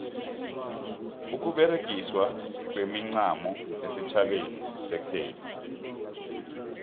ukuberegiswa kwemincamo esitjhabeni sekhethu